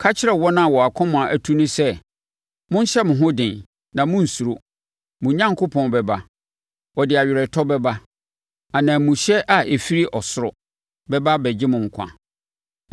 Ka kyerɛ wɔn a wɔn akoma atu no sɛ, “Monhyɛ mo ho den, na monnsuro; mo Onyankopɔn bɛba, ɔde aweretɔ bɛba; ananmuhyɛ a ɛfiri ɔsoro bɛba abɛgye mo nkwa.”